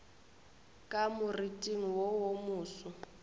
ka moriting wo wo moso